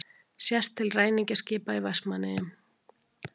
Sést til ræningjaskipa í Vestmannaeyjum.